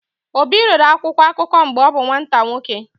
Obi rere akwụkwọ akụkọ mgbe ọ bụ nwata nwoke.